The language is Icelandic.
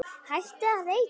Hættið að reykja!